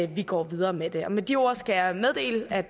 vi går videre med det med de ord skal jeg meddele at